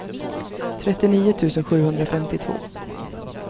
trettionio tusen sjuhundrafemtiotvå